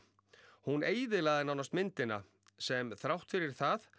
hún eyðilagði nánast myndina sem þrátt fyrir það